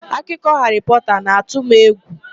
Akụkọ Haarị Pọta na-atụ m egwu.